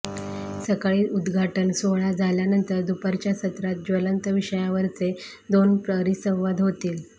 सकाळी उद्दघाटन सोहळा झाल्यानंतर दुपारच्या सत्रात ज्वलंत विषयांवरचे दोन परिसंवाद होतील